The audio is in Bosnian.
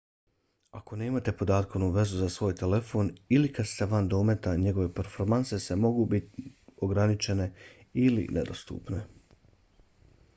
ako nemate podatkovnu vezu za svoj telefon ili kada ste van dometa njegove performanse mogu biti ograničene ili nedostupne